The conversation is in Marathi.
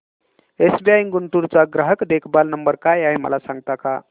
एसबीआय गुंटूर चा ग्राहक देखभाल नंबर काय आहे मला सांगता का